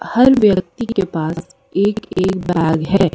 हर व्यक्ति के पास एक-एक बैग है।